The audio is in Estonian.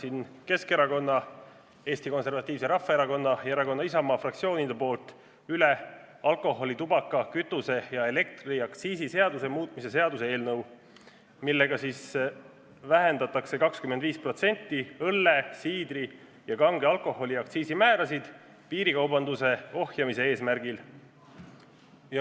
Annan Keskerakonna, Eesti Konservatiivse Rahvaerakonna ja erakonna Isamaa fraktsiooni poolt üle alkoholi-, tubaka-, kütuse- ja elektriaktsiisi seaduse muutmise seaduse eelnõu, millega soovitakse vähendada 25% õlle-, siidri- ja kange alkoholi aktsiisi määrasid piirikaubanduse ohjeldamise eesmärgil.